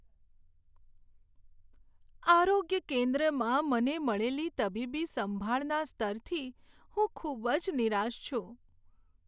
આરોગ્ય કેન્દ્રમાં મને મળેલી તબીબી સંભાળના સ્તરથી હું ખૂબ જ નિરાશ છું.